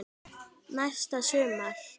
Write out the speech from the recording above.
Næsta sumar?